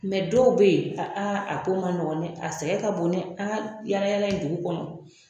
dɔw bɛ yen aa a ko ma nɔgɔn dɛ a sɛgɛn ka bon dɛ an ka yaala-yaala in dugu kɔnɔ